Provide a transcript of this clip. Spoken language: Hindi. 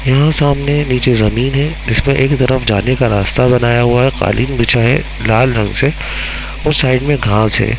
यहाँ सामने नीचे ज़मीन है जिस पर एक तरफ जाने का रास्ता बनाया हुआ है कालीन बिछा है लाल रंग से और साइड में घास है।